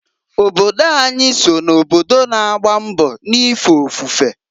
Obodo anyị so na obodo na-agba mbọ n'ife ofufe.